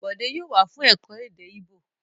Bòdé yóò wá fún ẹ̀kọ́ èdè Íbò!